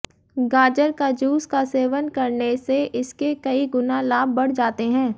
गाजर का जूस का सेवन करने से इसके कई गुना लाभ बढ़ जाते हैं